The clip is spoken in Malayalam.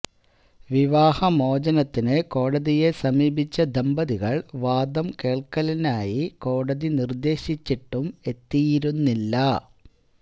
വിവാഹമോചനത്തിന് കോടതിയെ സമീപിച്ച ദമ്പതികള് വാദം കേള്ക്കലിനായി കോടതി നിര്ദേശിച്ചിട്ടും എത്തിയിരുന്നില്ല